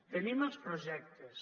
tenim els projectes